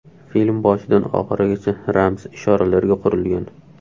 Film boshidan oxirigacha ramz, ishoralarga qurilgan.